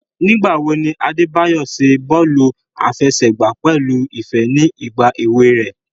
Nigbawo ni Adebayo ṣe bọọlu afẹsẹgba pẹlu ifẹ ni igba ewe rẹ?